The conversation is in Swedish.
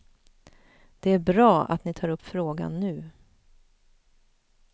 Det är bra att ni tar upp frågan nu.